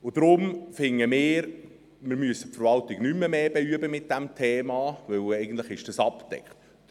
Deshalb finden wir, dass wir die Verwaltung nicht noch mehr mit diesem Thema «beüben» müssen, weil es eigentlich abgedeckt ist.